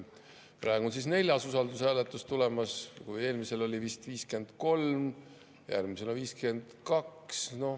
Praegu on siis neljas usaldushääletus tulemas, kui eelmisel oli vist 53, siis järgmisel on 52.